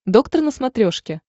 доктор на смотрешке